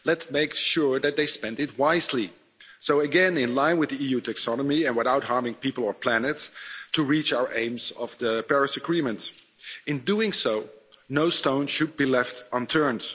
Let's make sure that they spend it wisely again, in line with the EU taxonomy and without harming people or the planet to reach our aims of the Paris Agreement. In doing so, no stone should be left unturned.